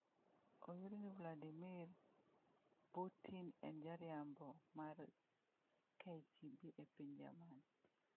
Oyud ni Vladimir Putin en jariembo mar KGB e piny Jerman